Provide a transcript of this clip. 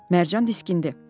Mərcan diskindi.